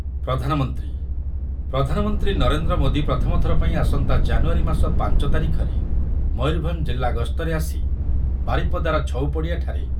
ପ୍ରଧାନମନ୍ତ୍ରୀ, ପ୍ରଧାନମନ୍ତ୍ରୀ ନରେନ୍ଦ୍ର ମୋଦି ପ୍ରଥମ ଥରପାଇଁ ଆସନ୍ତା ଜାନୁୟାରୀ ମାସ ପାଞ୍ଚ ତାରିଖରେ ମୟୂରଭଞ୍ଜ ଜିଲ୍ଲା ଗସ୍ତରେ ଆସି ବାରିପଦାର ଛଉପଡ଼ିଆଠାରେ